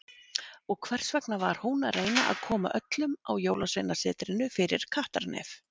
Og hvers vegna var hún að reyna að koma öllum á Jólasveinasetrinu fyrir kattarnef.